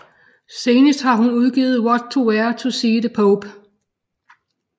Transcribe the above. Senest har hun udgivet What to Wear to see the Pope